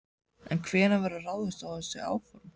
En hvenær verður ráðist í þessi áform?